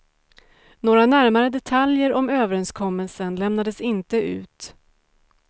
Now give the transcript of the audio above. Några närmare detaljer om överenskommelsen lämnades inte ut.